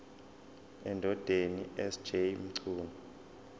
endodeni sj mchunu